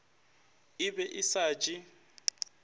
e be e sa je